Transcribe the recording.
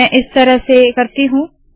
मैं इस तरह से करती हूँ